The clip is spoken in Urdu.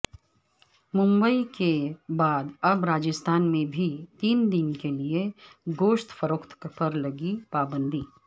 ممبئی کے بعد اب راجستھان میں بھی تین دن کیلئے گوشت فروخت پر لگی پابندی